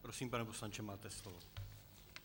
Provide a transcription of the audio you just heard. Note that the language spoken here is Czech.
Prosím, pane poslanče, máte slovo.